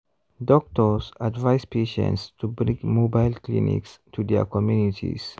doctors advise patients to bring mobile clinics to their communities.